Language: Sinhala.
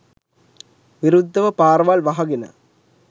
විරුද්දව පාරවල් වහගෙන